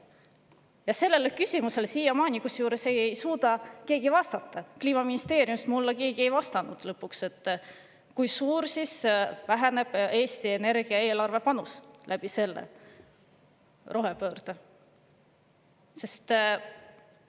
Ja sellele küsimusele siiamaani ei suuda keegi vastata: Kliimaministeeriumist ei ole keegi mulle vastanud, kui siis väheneb rohepöörde tõttu Eesti Energia panus eelarvesse.